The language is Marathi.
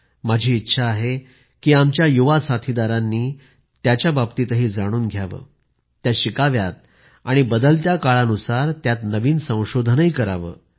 माझी इच्छा आहे की आमच्या युवक साथीदारांनी त्यांच्याबाबतीतही जाणून घ्यावं ते शिकावेत आणि बदलत्या काळानुसार त्यात नवीन संशोधनही करावं